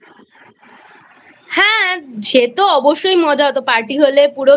হ্যাঁ সে তো অবশ্যই মজা হত Party হলে পুরো